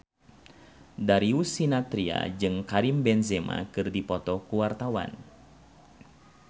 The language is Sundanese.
Darius Sinathrya jeung Karim Benzema keur dipoto ku wartawan